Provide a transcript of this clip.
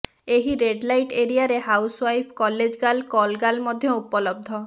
ଏହି ରେଡ଼ଲାଇଟ ଏରିଆରେ housewife college girl call girl ମଧ୍ୟ ଉପଲବ୍ଧ